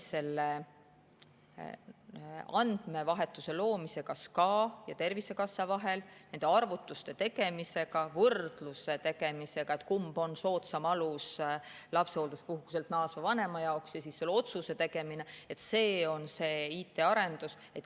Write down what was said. Andmevahetuse loomine SKA ja Tervisekassa vahel, nende arvutuste tegemise, võrdluse tegemise jaoks, et kumb on soodsam alus lapsehoolduspuhkuselt naasnud vanema jaoks, ja selle otsuse tegemine – see on see IT‑arendus.